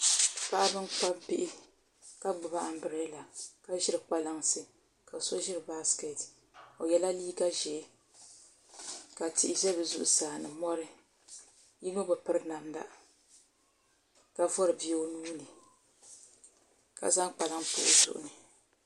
Paɣaba n kpabi bihi ka gbubi anbirɛla ka ʒiri kpalansi ka yino ʒiri baskɛt o yɛla liiga ʒiɛ ka tihi ʒɛ bi zuɣusaa ni mori yino bi piri namda ka vori bia o nuuni ka zaŋ kpalaŋ pa o zuɣu ni